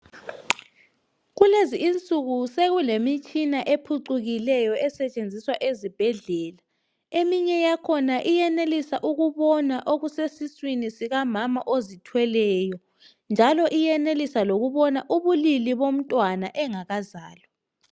Kulezi insuku sekulemitshina ephucukileyo esetshenziswa ezibhedlela. Eminye yakhona iyenelisa ukubona okusesiswini sikamama ozithweleyo njalo iyenelisa lokubona ubulili bomntwana engakazalwa.